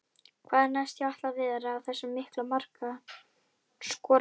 Hvað er næst hjá Atla Viðari, þessum mikla markaskorara?